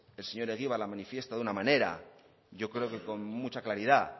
el señor egibar la manifiesta de una manera yo creo que con mucha claridad